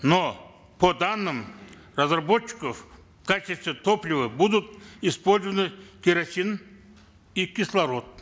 но по данным разработчиков в качестве топлива будут использованы керосин и кислород